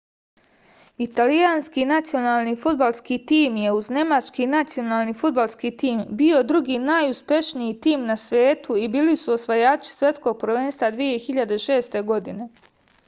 italijanski nacionalni fudbalski tim je uz nemački nacionalni fudbalski tim bio drugi najuspešniji tim na svetu i bili su osvajači svetskog prvenstva 2006. godine